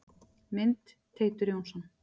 Mynd: Teitur Jónsson.